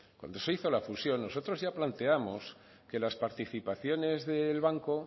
cuando se hizo la fusión nosotros ya plateamos que las participaciones del banco